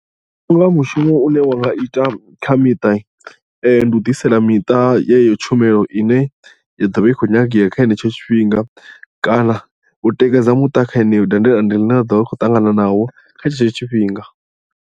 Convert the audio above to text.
Ndi vhona unga mushumo une wa nga ita kha miṱa ndi u ḓisela miṱa yeyo tshumelo ine ya ḓovha i khou nyangea kha henetsho tshifhinga kana u tikedza muṱa kha yeneyo dandetande ḽine ḽa ḓo vha i khou ṱangana nawo kha tshetsho tshifhinga.